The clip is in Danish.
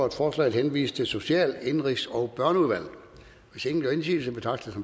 at forslaget henvises til social indenrigs og børneudvalget hvis ingen gør indsigelse betragter